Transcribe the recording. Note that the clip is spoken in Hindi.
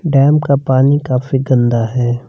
डैम का पानी काफी गंदा है।